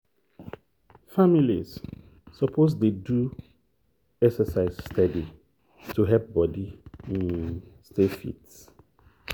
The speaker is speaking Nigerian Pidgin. families suppose dey do exercise steady to help body um stay fit.